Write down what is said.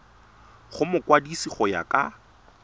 go mokwadise go ya ka